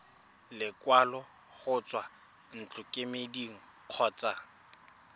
lekwalo go tswa ntlokemeding kgotsa